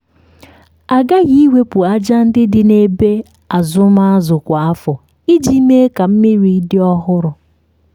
a ghaghị iwepụ aja ndị dị na ebe azụm azụ kwa afọ iji mee ka mmiri dị ọhụrụ.